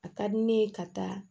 A ka di ne ye ka taa